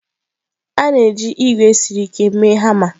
A na-eji ígwè siri ike mee hama.